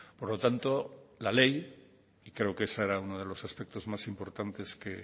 por lo tanto la ley y creo que ese era uno de los aspectos más importantes que